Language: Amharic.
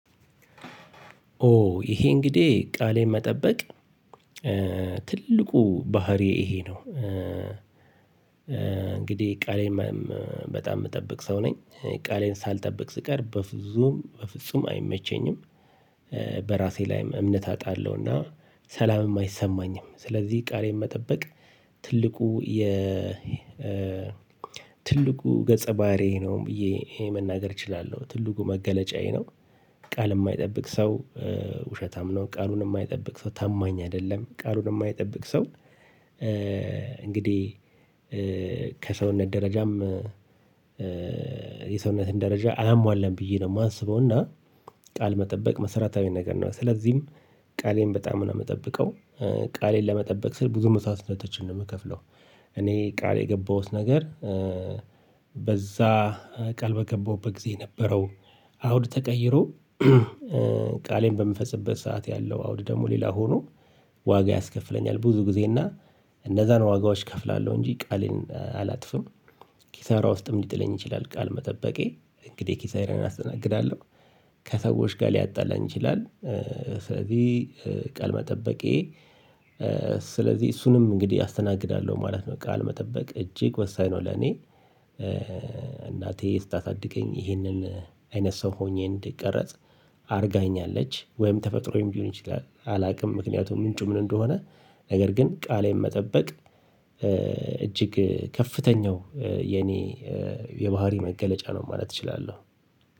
ኦ ይሄ እንግዲህ ቃሌን መጠበቅ ትልቁ ባህሪየ ይሄ ነው እንግዲህ ቃሌን በጣም የምጠብቅ ሰው ነኝ ቃሌን ሳልጠብቅ ስቀር በፍጹም በፍጹም አይመቸኝም በራሴ ላይ እምነት አጣለሁና ሰላምም አይሰማኝም ስለዚህ ቃሌን መጠበቅ ትልቁ የ ትልቁ ገጸ ባህሪ ነው ብዬ መናገር እችላለሁ ትልቁ መገለጫዬ ነው። ቃል የማይጠብቅ ሰው ውሸታም ነው ቃሉን የማይጠብቅ ሰው ታማኝ አይደለም ቃሉን የማይጠብቅ ሰው። እንግዲህ ከሰውነት ደረጃም የሰውነትን ደረጃ አላሟላም ብዬ ነው የማስበው። እና ቃል መጠበቅ መሰረታዊ ነገር ነው ስለዚህም ቃሌን በጣም ነው የምጠብቀው። ቃሌን ለመጠበቅ ስል ብዙ መስዋዕትነቶችን ነው የምከፍለው። እኔ ቃል የገባሁት ነገር በዛ ቃል በገባሁበት ጊዜ የነበረው አውድ ተቀይሮ ቃሌን በምፈጽበት ሰዓት ያለው አውድ ደግሞ ሌላ ሆኖ ዋጋ ያስከፍለኛል ብዙ ጊዜ እና እነዛን ዋጋዎች እከፍላለሁ እንጂ ቃሌን አላጥፍም። ኪሳራ ውስጥም ሊጥለኝ ይችላል ቃል መጠበቄ እንግዲህ ኪሳራን አስተናግዳለሁ። ከሰዎች ጋር ሊያጣላኝ ይችላል። ስለዚህ ቃል መጠበቄ ስለዚህ እሱንም እንግዲህ አስተናግዳለሁ ማለት ነው። ቃል መጠበቅ እጅግ ወሳኝ ነው ለኔ። እናቴ ስታሳድገኝ ይህንን አይነት ሰው ሆኜ እንድቀረጽ አድርጋኛለች ወይም ተፈጥሮዬም ሊሆን ይችላል አላውቅም። ምክንያቱም ምንጩ ምን እንደሆነ? ነገር ግን ቃሌን መጠበቅ እጅግ ከፍተኛው የኔ የባህሪ መገለጫ ነው ማለት እችላለሁ።